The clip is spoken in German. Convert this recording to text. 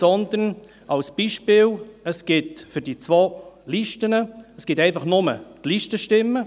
Demgegenüber – als Beispiel – gäbe es für die zwei Listen ganz klar nur die Listenstimmen.